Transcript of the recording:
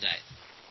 আমরা গর্বিতও